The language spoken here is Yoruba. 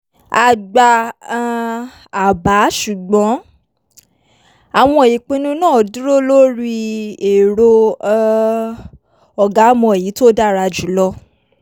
a gba um àbá ṣùgbọ́n àwọn ìpinnu náà dúró lórí èrò um "ọ̀gá mọ èyí tó dára jù lọ"